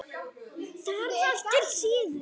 Það var til siðs.